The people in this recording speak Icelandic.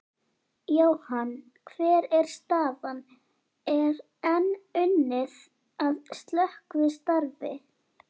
Jóhann, hver er staðan, er enn unnið að slökkvistarfi?